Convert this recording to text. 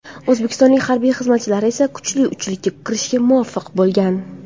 O‘zbekistonlik harbiy xizmatchilar esa kuchli uchlikka kirishga muvaffaq bo‘lgan.